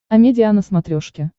амедиа на смотрешке